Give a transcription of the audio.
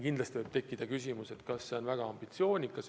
Kindlasti võib tekkida küsimus, kas see pole liiga vähe ambitsioonikas.